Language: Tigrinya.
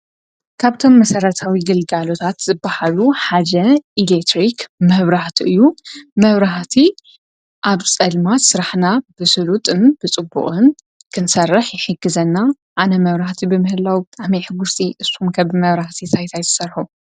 ካብቶም መሰረታዊ ግልጋሎታት ዝብሃሉ ሓደ ኤሌክትሪክ መብራህቲ እዩ፡ መብራህቲ ኣብ ፀልማት ስራሕና ብሱሉጥን ብፅቡቕን ክንሰርሕ ይሕግዘና፡፡ ኣነ መብራህቲ ብምህላዉ ብጣዕሚ እየ ሕጉስቲ፡፡ ንስኩም ከ ብመብራህት እንታይ እንታይ ትሰርሑ?